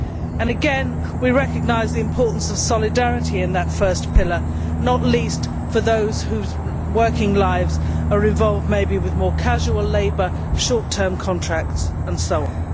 And again we recognise the importance of solidarity in that first pillar, not least for those whose working lives are involved with more casual labour, short term contracts and so on.